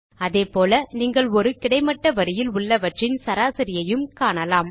அதேபோல நீங்கள் ஒரு கிடைமட்ட வரியில் உள்ளவற்றின் சராசரியையும் காணலாம்